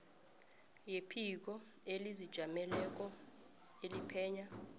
yephiko elizijameleko eliphenya